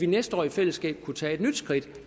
næste år i fællesskab kunne tage et nyt skridt